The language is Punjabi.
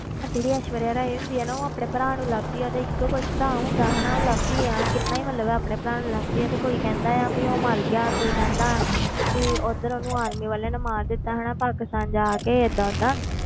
ਤੇ ਜਿਹੜੀ ਐਸ਼ਵਰੀਆ ਰਾਏ ਹੁੰਦੀ ਆ ਨਾ ਉਹ ਆਪਣੇ ਭਰਾ ਨੂੰ ਲੱਭਦੀ ਤੇ ਹੁੰਦਾ ਹਨਾ ਉਹ ਲੱਭਦੀ ਆ ਕਿੰਨਾ ਹੀ ਮਤਲਬ ਆਪਣੇ ਭਰਾ ਨੂੰ ਲੱਭਦੀ ਆ ਤੇ ਕੋਈ ਕਹਿੰਦਾ ਵੀ ਉਹ ਮਰ ਗਿਆ ਕੋਈ ਕਹਿੰਦਾ ਵੀ ਉੱਧਰ ਉਹਨੂੰ army ਵਾਲਿਆਂ ਨੇ ਮਾਰ ਦਿੱਤਾ ਹਨਾ ਪਾਕਿਸਤਾਨ ਜਾ ਕੇ ਏਦਾਂ ਓਦਾਂ